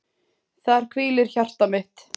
Þar hvílir hjarta mitt.